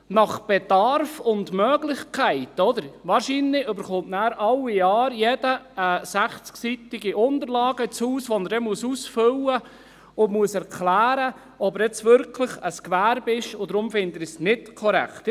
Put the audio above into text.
Nach Bedarf und Möglichkeit – wahrscheinlich erhält nachher jeder alle Jahre eine 60-seitige Unterlage ins Haus, die er dann ausfüllen und worin er erklären muss, ob er nun wirklich ein Gewerbe führt, und deshalb finde ich es nicht korrekt.